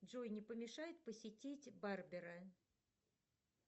джой не помешает посетить барбера